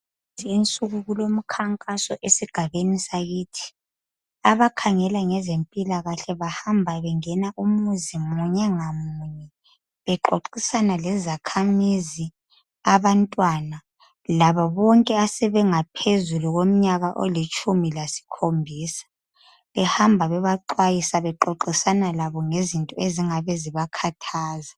kulezinsuku kulomkhankaso esigabeni sakithi abakhangela ngezempilakahle bahamba bengena umuzi munye ngamunye bexoxisana lezakhamizi abantwana labo bonke asebengaphezulu komnyaka olitshumu lasikhombisa behamba bebaxwayisa bexoxisana labo ngezinto ezingabe zibakhathaza